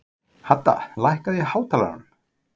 Hadda, lækkaðu í hátalaranum.